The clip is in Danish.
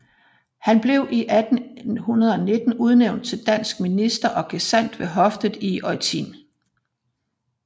Han blev 1819 udnævnt til dansk minister og gesandt ved hoffet i Eutin